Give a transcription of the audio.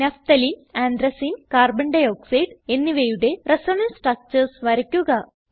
naphthalene anthracene carbon dioxide എന്നിവയുടെ resonance structures വരയ്ക്കുക